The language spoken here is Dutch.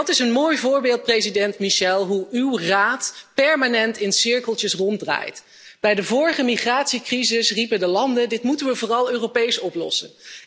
Dat is een mooi voorbeeld, president Michel, van hoe uw Raad permanent in cirkeltjes ronddraait. Bij de vorige migratiecrisis riepen de landen dit moeten we vooral Europees oplossen!